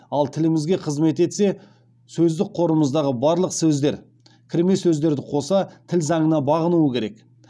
ал тілімізге қызмет етсе сөздік қорымыздағы барлық сөздер тіл заңына бағынуы керек